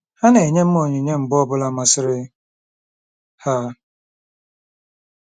Ha na-enye m onyinye mgbe ọ bụla masịrị ha.